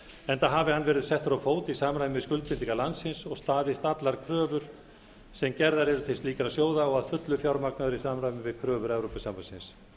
enda hafi hann verið settur á fót í samræmi við skuldbindingar landsins og staðist allar kröfur sem gerðar eru til slíkra sjóða og að fullu fjármagnaður í samræmi við kröfur evrópusambandsins